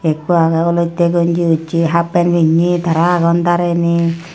ekko agey olottey gonji ucche hap pen pinney tara agon darenei.